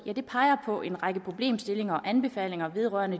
peger på en række problemstillinger og anbefalinger vedrørende